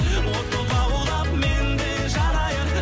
от боп лаулап мен де жанайын